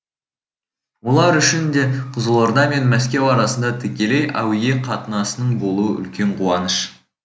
олар үшін де қызылорда мен мәскеу арасында тікелей әуе қатынасының болуы үлкен қуаныш